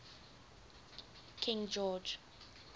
king george